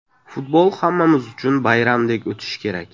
Futbol hammamiz uchun bayramdek o‘tishi kerak.